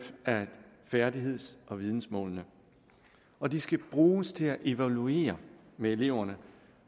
af færdigheds og vidensmålene og de skal bruges til at evaluere med eleverne